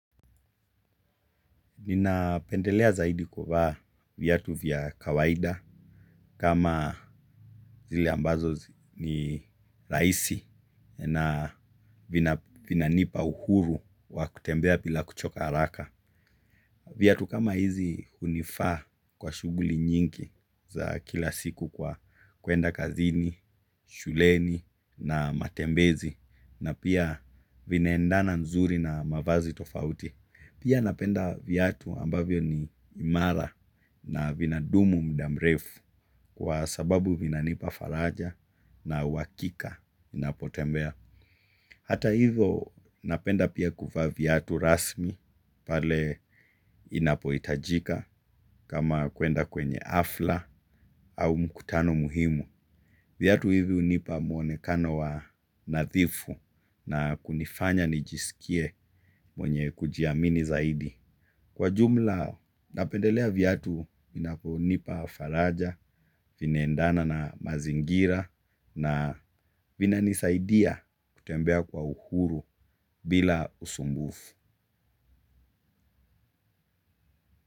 Ninapendelea zaidi kuvaa viatu vya kawaida kama zile ambazo ni rahisi na vinanipa uhuru wa kutembea bila kuchoka haraka. Viatu kama hizi hunifaa kwa shughuli nyingi za kila siku kwa kuenda kazini shuleni na matembezi na pia vinaendana nzuri na magazine tofauti. Pia napenda viatu ambavyo ni imara na vinadumu mda mrefu kwa sababu vinanipa faraja na uhakika ninapotembea. Hata hivyo napenda pia kuvaa viatu rasmi pale inapoitajika kama kuenda kwenye hafla au mkutano muhimu. Viatu hivyo hunipa mwonekano wa nadhifu na kunifanya nijisikie mwenye kujiamini zaidi. Kwa jumla napendelea viatu vinapo nipa faraja, vinaendana na mazingira na vinanisaidia kutembea kwa uhuru bila usumbufu.